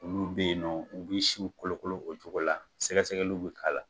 Olu bɛ yen nɔ, u bɛ siw kolokolo o cogo la. sɛgɛsɛgɛliw bɛ k'ala la.